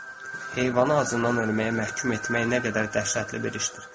Heyvanı acından ölməyə məhkum etmək nə qədər dəhşətli bir işdir?